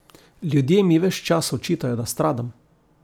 Ljudje mi ves čas očitajo, da stradam.